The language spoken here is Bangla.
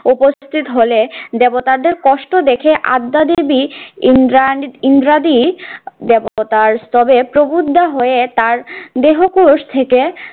উপস্থিত হলে দেবতাদের কষ্ট দেখে আদ্দা দেবী ইন্দ্রাদ~ ইন্দ্রাদি দেবতার স্তব এ প্রবুদ্ধা হয়ে তার দেহকোষ থেকে